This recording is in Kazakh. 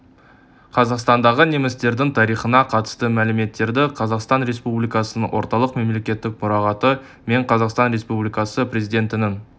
қазақстандағы немістердің тарихына қатысты мәліметтерді қазақстан республикасының орталық мемлекеттік мұрағаты мен қазақстан республикасы президентінің